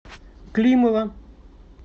климова